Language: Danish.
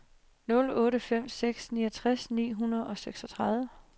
nul otte fem seks niogtres ni hundrede og seksogtredive